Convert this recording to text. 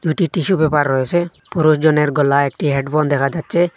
দুইটি টিস্যুপেপার রয়েছে পুরোজনের গলায় একটি হেডফোন দেখা যাচ্ছে।